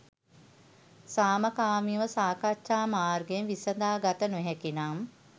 සාමකාමීව සාකච්ඡා මාර්ගයෙන් විසඳා ගත නොහැකි නම්,